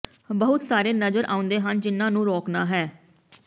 ਬਹੁਤ ਸਾਰੇ ਨਜ਼ਰ ਆਉਂਦੇ ਹਨ ਜਿਨ੍ਹਾਂ ਨੂੰ ਰੋਕਣਾ ਹੈ